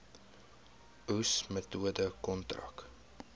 oes metode kontrak